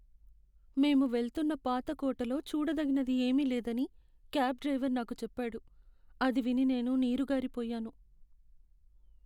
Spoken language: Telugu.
మేము వెళ్తున్న పాత కోటలో చూడదగినది ఏమీ లేదని క్యాబ్ డ్రైవర్ నాకు చెప్పాడు. అది విని నేను నీరుగారిపోయాను.